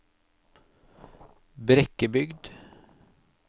Brekkebygd